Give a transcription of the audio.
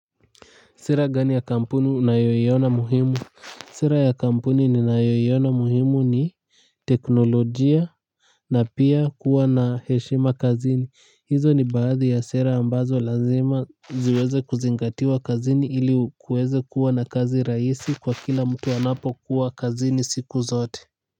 Sera gani ya kampuni unayoyoiona muhimu. Sera ya kampuni ninayoyoiona muhimu ni teknolojia. Na pia kuwa na heshima kazini hizo ni baadhi ya sera ambazo lazima ziweze kuzingatiwa kazini ili kuweze kuwa na kazi raisi kwa kila mtu anapokuwa kazini siku zote.